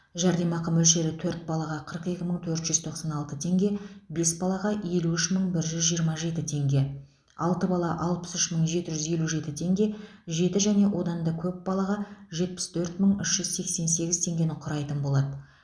жәрдемақы мөлшері төрт балаға қырық екі мың төрт жүз тоқсан алты теңге бес балаға елу үш мың бір жүз жиырма жеті теңге алты бала алпыс үш мың жеті жүз елу жеті теңге жеті және одан көп балаға жетпіс төрт мың үш жүз сексен сегіз теңгені құрайтын болады